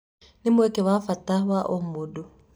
Nĩ mwĩkuĩre wa bata wa ũmũndũ."